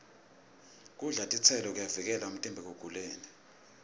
kudla titselo kuyawuvikela umtimba ekuguleni